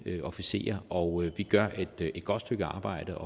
officerer og vi gør et godt stykke arbejde